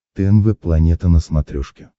тнв планета на смотрешке